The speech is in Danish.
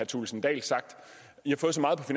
thulesen dahl sagt i har fået så meget i